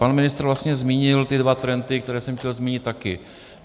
Pan ministr vlastně zmínil ty dva trendy, které jsem chtěl zmínit také.